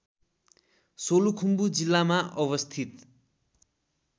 सोलुखुम्बु जिल्लामा अवस्थित